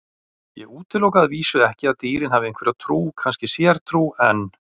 Ég útiloka að vísu ekki að dýrin hafi einhverja trú, kannski sértrú, en.